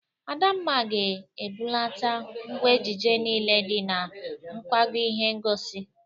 Adamma ga-ebulata ngwa ejije niile dị na nkwago ihe ngosi